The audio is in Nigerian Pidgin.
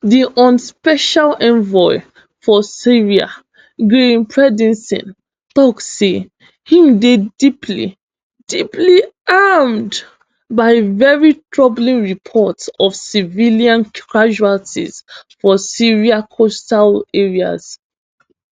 di un special envoy for syria geir pedersen tok say im dey deeply deeply alarmed by veri troubling reports of civilian casualties for syria coastal areas